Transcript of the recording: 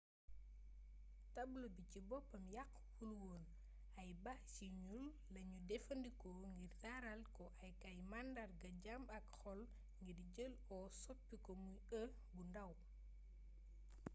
tablo bi ci boppam yàquwul woon ay bâche yu ñuul lañu jëfandikoo ngir taaral ko ak ay màndarga jàmm ak xol ngir jël o soppi ko muy e bu ndaw